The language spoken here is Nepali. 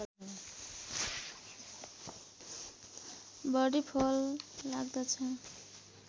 बढी फल लाग्दछ